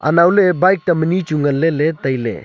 anau le bike tam ani chu nagle le taile.